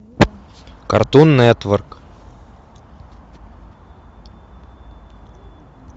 картун нетворк